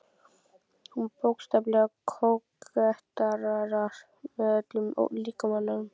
Hún bókstaflega kóketterar með öllum líkamanum.